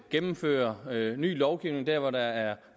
gennemføre ny lovgivning dér hvor der er